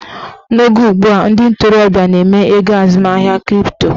N'oge ugbua, ndị ntorobịa na-eme ego azụmahịa kripto